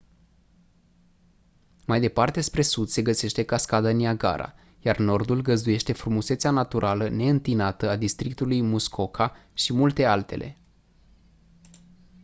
mai departe spre sud se găsește cascada niagara iar nordul găzduiește frumusețea naturală neîntinată a districtului muskoka și multe altele